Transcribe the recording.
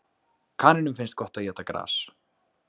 Kanínum finnst gott að éta gras.